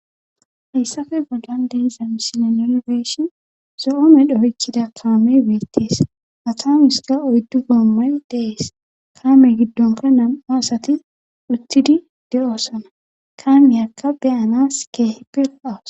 Ysafe bollan deezam sine nolbeeshon zo7oome dhohechida kaame beettees atamis ka oyddu boommoy dees kaame giddonka nam7aasati uttidi de7oossana kaameyakka beyanas keehepef awas